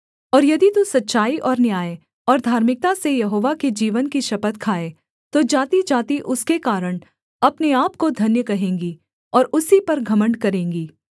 और यदि तू सच्चाई और न्याय और धार्मिकता से यहोवा के जीवन की शपथ खाए तो जातिजाति उसके कारण अपने आपको धन्य कहेंगी और उसी पर घमण्ड करेंगी